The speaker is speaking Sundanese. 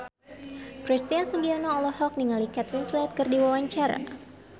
Christian Sugiono olohok ningali Kate Winslet keur diwawancara